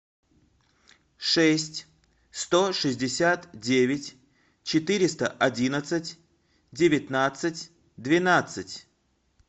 шесть сто шестьдесят девять четыреста одинадцать девятнадцать двенадцать